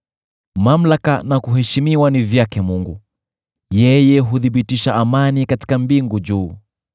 “Mamlaka na kuheshimiwa ni vyake Mungu; yeye huthibitisha amani katika mbingu juu.